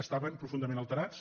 estaven profun·dament alterats